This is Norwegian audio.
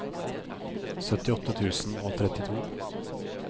syttiåtte tusen og trettito